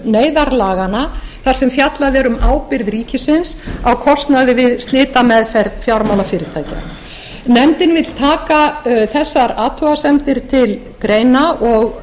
neyðarlaganna þar sem fjallað er um ábyrgð ríkisins á kostnaði við flýtimeðferð fjármálafyrirtækja nefndin vill taka þessar athugasemdir til greina og